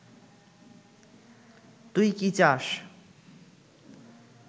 তুই কি চাস